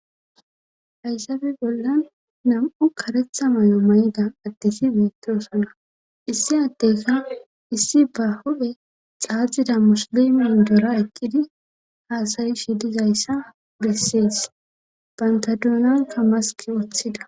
hayssafe bollan nam7u karetha may7o mayda adeti beettoosana issi addeyka issi ba hupe xaaxida musilimin dora eqqidi haasayi shi dizayssa bessees banta duunanka maski wooththida